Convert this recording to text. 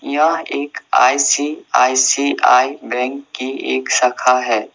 यह एक ICICI bank की एक शाखा है।